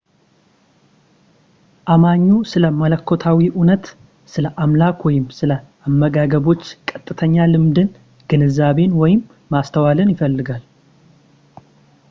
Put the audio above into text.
አማኙ ስለ መለኮታዊ እውነታ / ስለ አምላክ ወይም ስለ አመጋገቦች ቀጥተኛ ልምድን ፣ ግንዛቤን ወይም ማስተዋልን ይፈልጋል